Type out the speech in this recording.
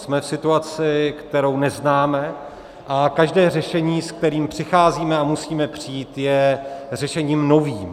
Jsme v situaci, kterou neznáme, a každé řešení, se kterým přicházíme a musíme přijít, je řešením novým.